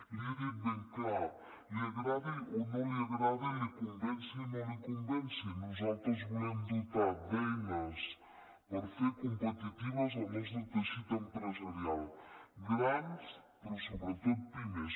l’hi he dit ben clar li agradi o no li agradi la convenci o no la convenci nosaltres volem dotar d’eines per fer competitiu el nostre teixit empresarial grans però sobretot pimes